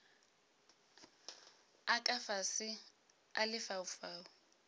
a ka fase a lefaufau